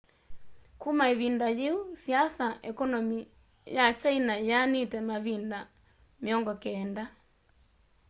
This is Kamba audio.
kuma ivinda yu saisi ya ekonomi ya kyaina yianite mavinda 90